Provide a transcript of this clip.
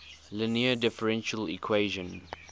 linear differential equation